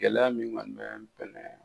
Gɛlɛya min kɔni bɛ